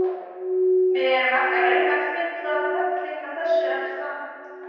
Við erum ekki að reyna að fylla völlinn með þessu, er það?